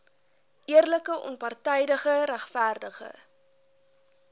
eerlike onpartydige regverdige